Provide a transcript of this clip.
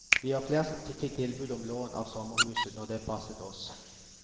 Vi var flere som fikk tilbud om lån av sommerhuset når det passet oss.